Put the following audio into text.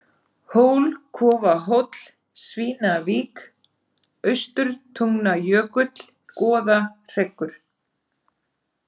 Hólkofahóll, Svínavík, Austurtungnajökull, Goðahryggur